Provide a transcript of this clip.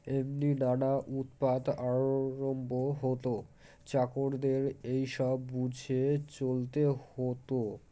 এমনই নানা উৎপাত আরম্ভ হতো চাকরদের এইসব বুঝে চলতে হতো